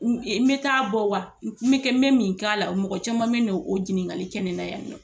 N mɛ taa bɔ wa n me kɛ, n me min k'a la, mɔgɔ caman be yen n'o o ɲininkali kɛ ne na yan nɔ.